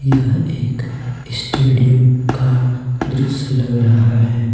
यह एक स्टेडियम का दृश्य लग रहा है।